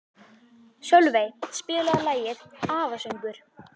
Sölvey, spilaðu lagið „Afasöngur“.